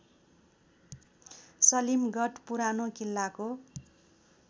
सलीमगढ पुरानो किल्लाको